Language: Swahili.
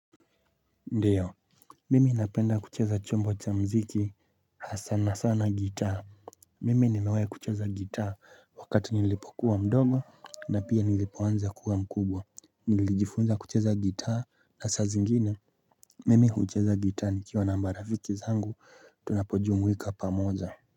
Ndio mimi napenda kucheza chombo cha mziki sana sana gitaa Mimi nimewahi kucheza gitaa wakati nilipokuwa mdogo na pia nilipoanza kuwa mkubwa. Nilijifunza kucheza gitaa na saa zingine mimi hucheza gitaa nikiwa na marafiki zangu tunapojumuika pamoja.